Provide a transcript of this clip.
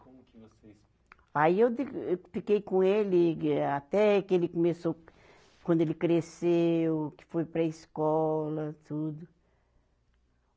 Como que vocês. Aí eu digo, eu fiquei com ele até que ele começou, quando ele cresceu, que foi para escola, tudo.